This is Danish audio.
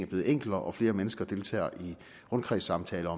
blevet enklere og at flere mennesker deltager i rundkredssamtaler